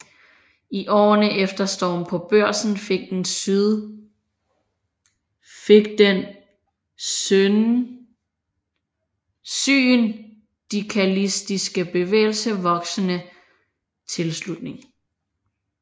I årene efter Stormen på Børsen fik den syndikalistiske bevægelse voksende tilslutning